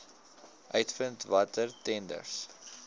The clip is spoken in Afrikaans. uitvind watter tenders